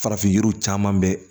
Farafin yiriw caman bɛ